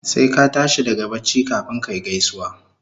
Sai ka tashi daga bacci kafun kayi gaisuwa